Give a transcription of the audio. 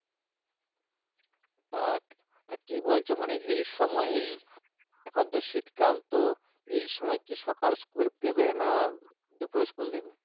আহ কি বলছো মানে এই সময় এই এখন তো শীতকাল তো এই সময় কি সকাল school দেবে না দুপুরে school দেবে?